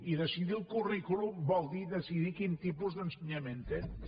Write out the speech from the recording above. i decidir el currículum vol dir decidir quin tipus d’ensenyament tens